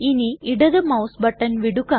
ഇനി ഇടത് mouse button വിടുക